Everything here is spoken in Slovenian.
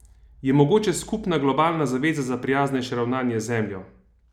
Je mogoča skupna globalna zaveza za prijaznejše ravnanje z Zemljo?